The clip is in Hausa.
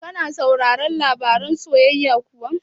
Ka na sauraron labaran soyayya kuwa?